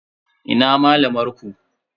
Ina malamar ku?